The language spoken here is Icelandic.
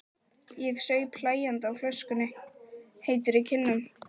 Ég saup hlæjandi á flöskunni, heitur í kinnum.